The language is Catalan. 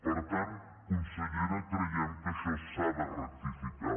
per tant consellera creiem que això s’ha de rectificar